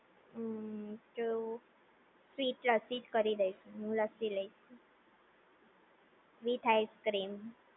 ઉમ્મ તો સ્વીટ લસ્સી જ કરી દઇશ હું લસ્સી લઈશ વિથ આઇસક્રીમ